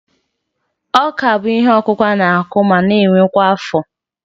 Ọ́kà bụ ihe ọkụkụ a na-akụ ma na-ewe kwa afọ